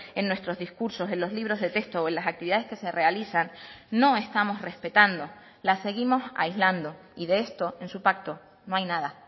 en nuestros discursos en los libros de texto o en las actividades que se realizan no estamos respetando las seguimos aislando y de esto en su pacto no hay nada